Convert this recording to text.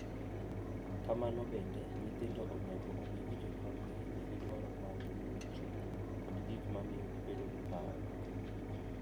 Kamano bende, nyithindo onego ong’e ni jonyuolgi nigi dwaro maggi mag chuny kod gik ma miyo gibedo gi parruok.